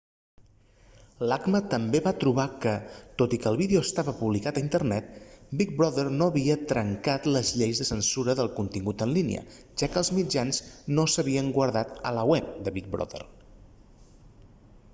l'acma també va trobar que tot i que el vídeo estava publicat a internet big brother no havia trencat les lleis de censura del contingut en línia ja que els mitjans no s'havien guardat al web de big brother